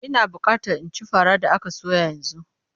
Ina bukata in ci farar da aka soya yanzu!